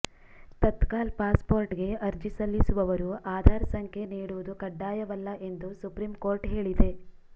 ತತ್ಕಾಲ್ ಪಾಸ್ಪೋರ್ಟ್ಗೆ ಅರ್ಜಿ ಸಲ್ಲಿಸುವವರು ಆಧಾರ್ ಸಂಖ್ಯೆ ನೀಡುವುದು ಕಡ್ಡಾಯವಲ್ಲ ಎಂದು ಸುಪ್ರೀಂ ಕೋರ್ಟ್ ಹೇಳಿದೆ